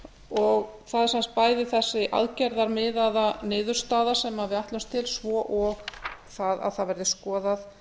er sem sagt bæði þessi aðgerðamiðað niðurstaða sem við ætlumst til svo og það að það verði skoðað